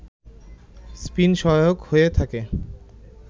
spin সহায়ক হয়ে থাকে